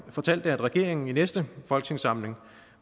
fortalte at regeringen i næste folketingssamling